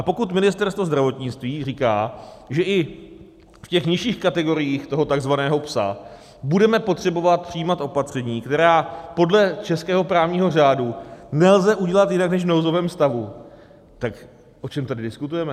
A pokud Ministerstvo zdravotnictví říká, že i v těch nižších kategoriích toho takzvaného "psa" budeme potřebovat přijímat opatření, která podle českého právního řádu nelze udělat jinak než v nouzovém stavu, tak o čem tady diskutujeme?